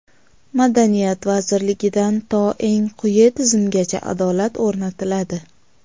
Madaniyat vazirligidan to eng quyi tizimgacha adolat o‘rnatiladi.